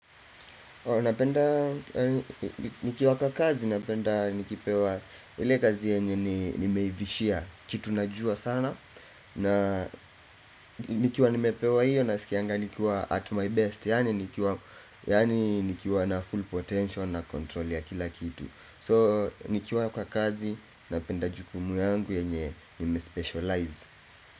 Napenda, nikiwa kwa kazi napenda nikipewa ile kazi yenye nimeivishia kitu najua sana na nikiwa nimepewa hiyo nasikianga nikiwa at my best. Yani nikiwa na full potential na control ya kila kitu. So nikiwa kwa kazi napenda jukumu yangu yenye nime specialize.